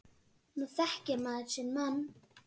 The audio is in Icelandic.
Nú þekkir maður sinn mann.